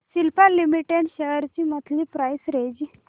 Cipla limited shares ची monthly price range